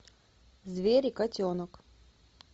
звери котенок